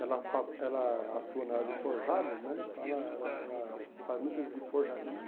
Ela fa ela atua na área de forjados né, então era era era faz muito serviço de forjaria.